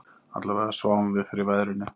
Allavega sváfum við fyrir veðrinu